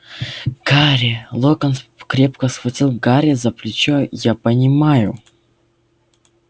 гарри локонс крепко схватил гарри за плечо я понимаю